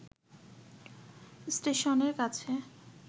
স্টেশনের কাছে